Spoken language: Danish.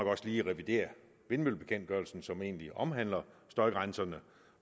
også lige revidere vindmøllebekendtgørelsen som egentlig omhandler støjgrænserne